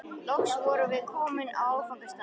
Loks vorum við komin á áfangastað.